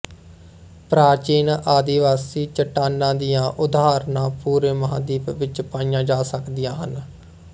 ਪ੍ਰਾਚੀਨ ਆਦਿਵਾਸੀ ਚੱਟਾਨਾਂ ਦੀਆਂ ਉਦਾਹਰਨਾਂ ਪੂਰੇ ਮਹਾਂਦੀਪ ਵਿੱਚ ਪਾਈਆਂ ਜਾ ਸਕਦੀਆਂ ਹਨ